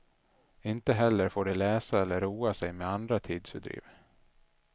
Inte heller får de läsa eller roa sig med andra tidsfördriv.